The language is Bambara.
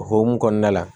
O hokumu kɔnɔna la